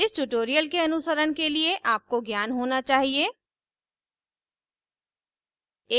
इस tutorial के अनुसरण के लिए आपको ज्ञान होना चाहिए